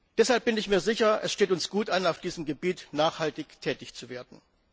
Deshalb bin ich mir sicher, es steht uns gut an, auf diesem Gebiet nachhaltig tätig zu werden.